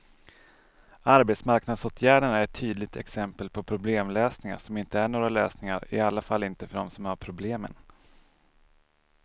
Arbetsmarknadsåtgärderna är ett tydligt exempel på problemlösningar som inte är några lösningar, i alla fall inte för dem som har problemen.